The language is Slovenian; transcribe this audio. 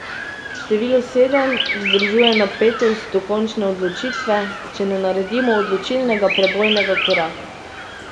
Število sedem vzdržuje napetost do končne odločitve, če ne naredimo odločilnega prebojnega koraka.